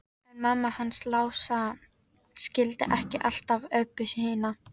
En mamma hans Lása skildi ekki alltaf Öbbu hina.